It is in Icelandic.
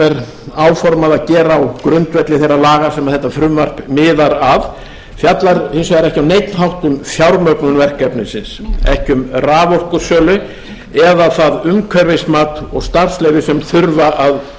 áformað er að gera á grundvelli þeirra laga sem þetta frumvarp miðar að fjallar ekki á neinn hátt um fjármögnun verkefnisins raforkusölu eða það umhverfismat og starfsleyfi sem þurfa að